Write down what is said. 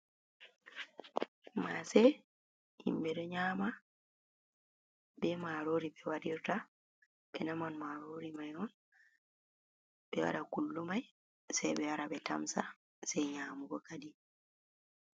Maase, himɓe ɗo nyaama, be maarori ɓe waɗirta, ɓe naman maarori mai on, ɓe waɗa qullu mai, sei ɓe wara ɓe tamsa, sei nyaamugo kadi.